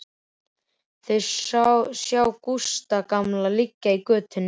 Þau sjá Gústa gamla liggja í götunni.